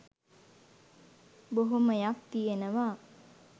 බොහෝමයක් තියෙනවා